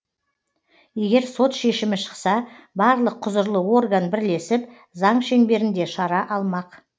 егер сот шешімі шықса барлық құзырлы орган бірлесіп заң шеңберінде шара алмақ